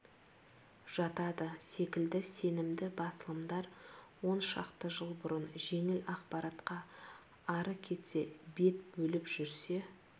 жатады секілді сенімді басылымдар он шақты жыл бұрын жеңіл ақпаратқа ары кетсе бет бөліп жүрсе